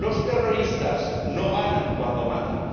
Los terroristas no ganan cuando matan.